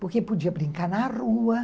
Porque podia brincar na rua.